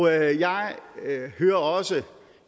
jeg hører også